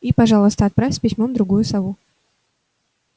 и пожалуйста отправь с письмом другую сову